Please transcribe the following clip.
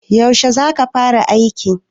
yaushe za ka fara aikin